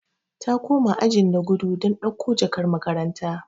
Ta koma ajin da gudu don dauko jakar makaranta.